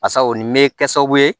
Basa o nin bɛ kɛ sababu ye